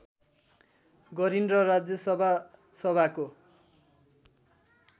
गरिन् र राज्यसभा सभाको